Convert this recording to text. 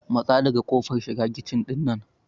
Matsa daga kofar shiga kici ɗin nan!